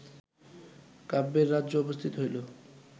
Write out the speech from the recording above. কাব্যের রাজ্য উপস্থিত হইল